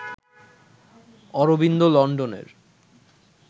অরবিন্দ লন্ডনের